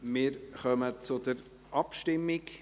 Wir kommen zur Abstimmung.